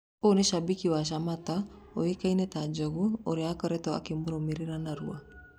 Ũyũ ni shabiki wa Shamata ũĩkaine ta 'Njũgũ' ũrĩa akoretwo akĩmũrũmĩrĩra narua.